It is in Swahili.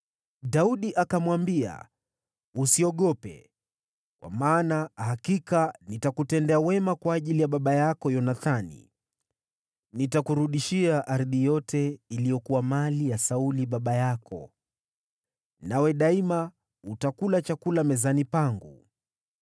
Daudi akamwambia, “Usiogope, kwa maana hakika nitakutendea wema kwa ajili ya baba yako Yonathani. Nitakurudishia ardhi yote iliyokuwa mali ya Sauli baba yako, nawe daima utakula chakula mezani pangu.”